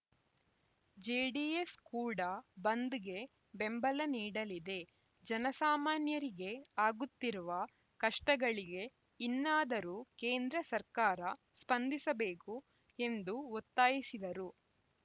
JDS ಕೂಡ ಬಂದ್‌ಗೆ ಬೆಂಬಲ ನೀಡಲಿದೆ ಜನಸಾಮಾನ್ಯರಿಗೆ ಆಗುತ್ತಿರುವ ಕಷ್ಟಗಳಿಗೆ ಇನ್ನಾದರೂ ಕೇಂದ್ರ ಸರ್ಕಾರ ಸ್ಪಂದಿಸಬೇಕು ಎಂದು ಒತ್ತಾಯಿಸಿದರು